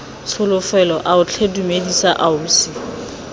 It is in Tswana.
tsholofelo ao tlhe dumela ausi